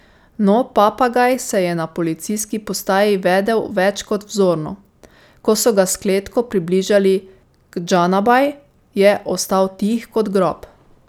No, papagaj se je na policijski postaji vedel več kot vzorno, ko so ga s kletko približali k Džanabaj, je ostal tih kot grob.